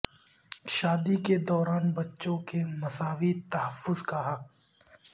شادی کے دوران بچوں کے مساوی تحفظ کا حق